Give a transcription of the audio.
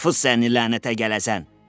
Tfu sən, lənətə gələsən.